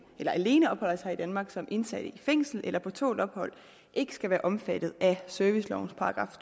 der alene opholder sig i danmark som indsatte i et fængsel eller på tålt ophold ikke skal være omfattet af servicelovens §